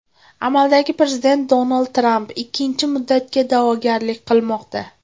Amaldagi prezident Donald Tramp ikkinchi muddatga da’vogarlik qilmoqda.